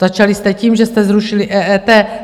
Začali jste tím, že jste zrušili EET.